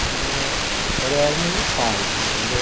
Mas era era era meio pai lá, entendeu?